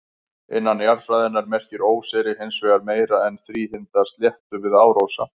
Innan jarðfræðinnar merkir óseyri hins vegar meira en þríhyrnda sléttu við árósa.